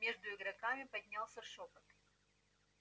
между игроками поднялся шёпот